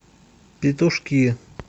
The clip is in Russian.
петушки